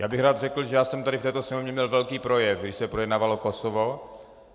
Já bych rád řekl, že já jsem tady v této sněmovně měl velký projev, když se projednávalo Kosovo.